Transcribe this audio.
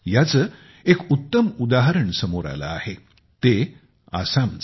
याचे एक उत्तम उदाहरण समोर आले आहे ते आसामचे